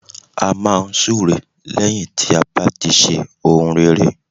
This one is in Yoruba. A máa n súre lẹ́yìn tí a bá ti ṣe ohun rere